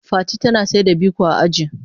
Fati tana saida biko a aji.